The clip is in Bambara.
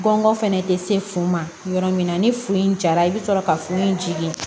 Gɔngɔn fɛnɛ tɛ se fun ma yɔrɔ min na ni fin jara i bɛ sɔrɔ ka furu in jigin